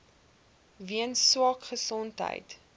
weens swak gesondheid